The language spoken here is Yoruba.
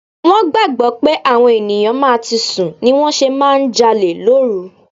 Wón gbàgbó pé àwọn ènìyàn máa ti sùn ni wón ṣe máa ń jalè lóru.